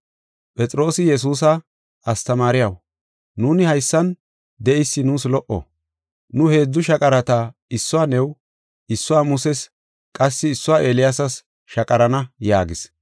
Phexroosi Yesuusa, “Astamaariyaw, nuuni haysan de7eysi nuus lo77o; nu heedzu shaqarata issuwa new, issuwa Muses, qassi issuwa Eeliyaasas shaqarana” yaagis.